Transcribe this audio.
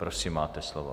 Prosím, máte slovo.